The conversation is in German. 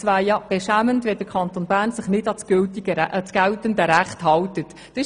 Es wäre beschämend, wenn sich der Kanton Bern nicht an das geltende Recht halten würde.